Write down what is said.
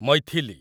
Maithili